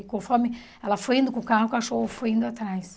E conforme ela foi indo com o carro, o cachorro foi indo atrás.